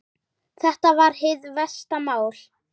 Þetta var hið versta mál!